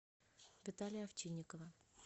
виталия овчинникова